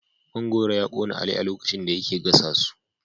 Man goro ya kona Ali a lokacin da yake gasa su